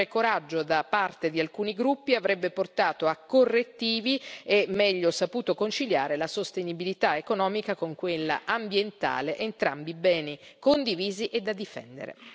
Maggiore coraggio da parte di alcuni gruppi avrebbe portato a correttivi e meglio saputo conciliare la sostenibilità economica con quella ambientale, entrambi beni condivisi e da difendere.